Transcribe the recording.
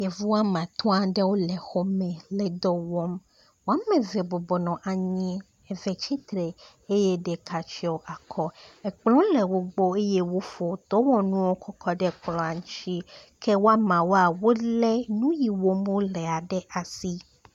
Yevu wome atɔ̃ aɖe le xɔ me le dɔ wɔm. Wome eve bɔbɔ nɔ anyi, eve tsitre eye ɖeka tsɔ akɔ. Ekplɔ̃ le wogbɔ eye wofɔ dɔwɔnuwo kɔ kɔ ɖe kplɔ̃ dzi ke wo ameawo, wolé nu yi wɔm wolea ɖe asi.